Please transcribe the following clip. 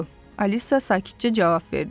Alisa sakitcə cavab verdi.